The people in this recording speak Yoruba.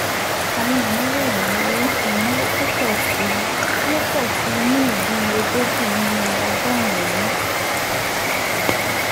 àwọn ìnáwó ìnáwó ìnáwó tó pọ̀ sí i ló pọ̀ sí i ní ìdá ogójì nínú ọgọ́rùn-ún